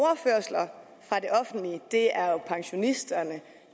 det er pensionisterne og